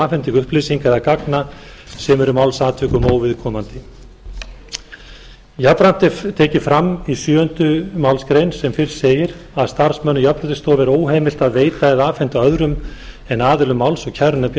afhendingu upplýsinga eða gagna sem eru málsatvikum óviðkomandi jafnframt er tekið fram í sjöunda málsgrein sem fyrr segir að starfsmönnum jafnréttisstofu er óheimilt að veita eða afhenda öðrum en aðilum máls og kærunefnd